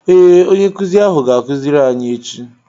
Ee, onye nkuzi ahụ ga-akuziri anyị echi